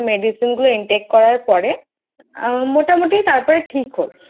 Medicine গুলো Intake করার পরে মোটামোটি তারপর ঠিক হলো।